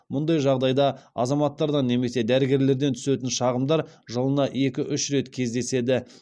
мұндай жағдайда азаматтардан немесе дәрігерлерден түсетін шағымдар жылына екі үш рет кездеседі